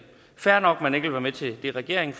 fair nok at man ikke vil være med til det regeringen